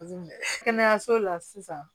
kɛnɛyaso la sisan